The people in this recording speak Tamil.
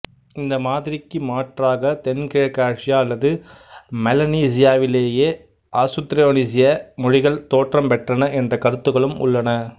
இந்த மாதிரிக்கு மாற்றாக தென்கிழக்காசியா அல்லது மெலனீசியாவிலேயே ஆசுத்திரோனீசிய மொழிகள் தோற்றம் பெற்றன என்ற கருத்துக்களும் உள்ளன